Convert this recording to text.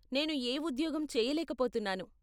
నేను ఏ ఉద్యోగం చేయలేక పోతున్నాను.